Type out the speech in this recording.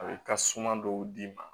A bɛ ka suma dɔw d'i ma